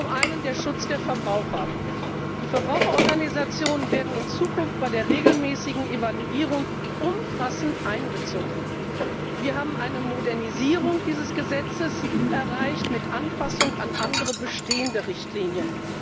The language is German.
Zum einen der Schutz der Verbraucher Die Verbraucherorganisationen werden in Zukunft bei der regelmäßigen Evaluierung umfassend einbezogen. Wir haben eine Modernisierung dieses Gesetzes erreicht mit Anpassung an andere bestehende Richtlinien.